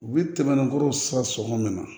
U bɛ tɛmɛ ni kɔrɔ sa sɔngɔ min na